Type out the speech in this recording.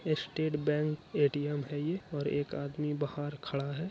State Bank ATM है ये और एक आदमी बाहर खड़ा है।